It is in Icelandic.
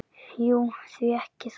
Jú, því ekki það?